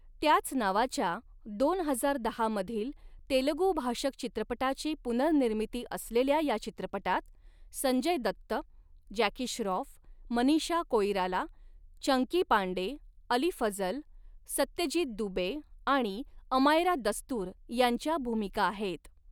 त्याच नावाच्या दोन हजार दहा मधील तेलगू भाषक चित्रपटाची पुनर्निर्मिती असलेल्या या चित्रपटात, संजय दत्त, जॅकी श्राॅफ, मनीषा कोईराला, चंकी पांडे, अली फजल, सत्यजीत दुबे आणि अमायरा दस्तूर यांच्या भूमिका आहेत.